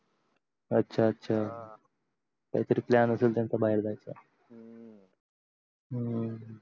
अच्छा अच्छा काही तरी plan असेल त्यांचा बाहेर जायचा हम्म